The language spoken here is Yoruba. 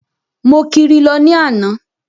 Mo kiri lọ ní àná.